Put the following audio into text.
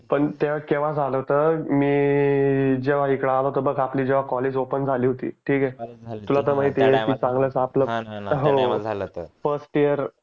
पण ते केव्हा झालं होतं मी जेव्हा इकडं आलो होतो बघ आपली जेव्हा कॉलेज झाली होती, ठीक आहे तुला तर माहिती आहे हो फस्ट इयर